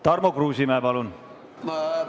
Tarmo Kruusimäe, palun!